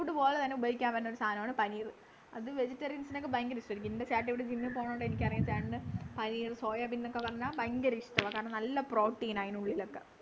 food പോലെത്തന്നെ ഉപയോഗിക്കാൻ പറ്റിയൊരു സാധനമാണ് പനീറു അത് vegetarians നൊക്കെ ഭയങ്കര ഇഷ്ടായിരിക്കും എൻ്റെ ചേട്ടനിവിടെ gym പോണോണ്ട് എനിക്കറിയാം ചേട്ടന് പനീർ സോയാബീൻ എന്നൊക്കെ പറഞ്ഞാൽ ഭയങ്കര ഇഷ്ടവാ കാരണം നല്ല protein ആ അതിനുള്ളിലൊക്കെ